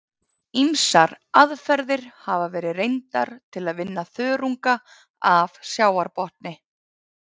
Ýmsar aðferðir hafa verið reyndar til að vinna þörunga af sjávarbotni.